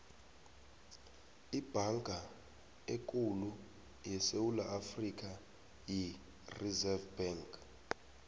ibhanka ekhulu yesewula afrika yi reserve bank